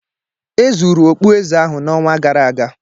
E zuru okpueze ahụ n'ọnwa gara aga